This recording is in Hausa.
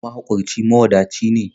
Mahaƙurci, mawadaci ne.